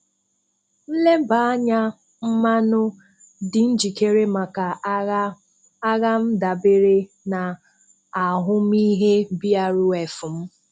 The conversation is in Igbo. Nlébànya mmanụ dị njìkèrè maka aghà m dábèrè na ahụ́mìhè BRF m